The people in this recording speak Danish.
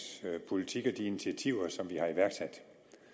politik og de initiativer som vi har iværksat